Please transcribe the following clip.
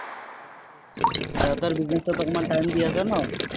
দেউতাৰ business ত অকণমান time দি আছা ন।